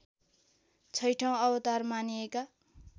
छैठौँ अवतार मानिएका